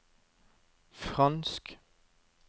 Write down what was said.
fransk